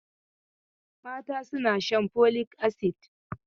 Mata suna shan folic acid.